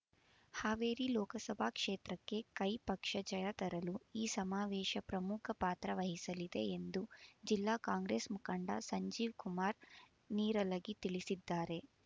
ಹಾವೇರಿ ಲೋಕಸಭಾ ಕ್ಷೇತ್ರಕ್ಕೆ ಕೈ ಪಕ್ಷ ಜಯ ತರಲು ಈ ಸಮಾವೇಶ ಪ್ರಮುಖ ಪಾತ್ರ ವಹಿಸಲಿದೆ ಎಂದು ಜಿಲ್ಲಾ ಕಾಂಗ್ರೆಸ್ ಮುಖಂಡ ಸಂಜೀವ್ ಕುಮಾರ್ ನೀರಲಗಿ ತಿಳಿಸಿದ್ದಾರೆ